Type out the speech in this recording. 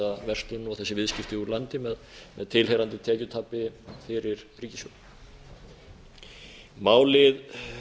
þessa verslun og þessi viðskipti úr landi með tilheyrandi tekjutapi fyrir ríkissjóð málið